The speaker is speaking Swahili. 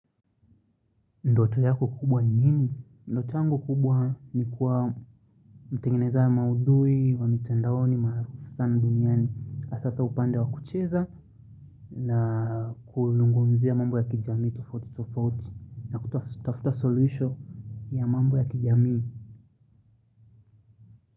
Ndoto yako kubwa nini? Ndoto yangu kubwa ni kuwa mtengeneza maudhui wa mtandaoni maarufu sana duniani hasa sa upande wa kucheza na kuzungumzia mambo ya kijamii tofauti tofauti na kutafuta suluhisho ya mambo ya kijamii.